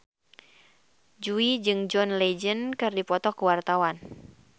Jui jeung John Legend keur dipoto ku wartawan